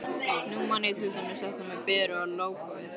Nú man ég til dæmis þetta með Beru og lógóið.